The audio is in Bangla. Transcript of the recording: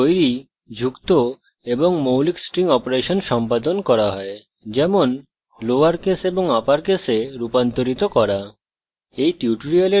strings তৈরী যুক্ত এবং মৌলিক strings অপারেশন সম্পাদন করা হয় যেমন লোয়র case এবং upper case রূপান্তরিত করা